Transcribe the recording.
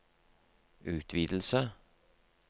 utvidelse